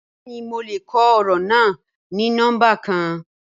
Bẹẹni mo lè kọ ọrọ na ni nọmba kan.